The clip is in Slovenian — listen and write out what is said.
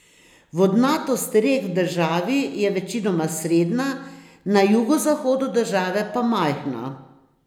Vodnatost rek v državi je večinoma srednja, na jugozahodu države pa majhna.